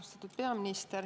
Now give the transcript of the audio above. Austatud peaminister!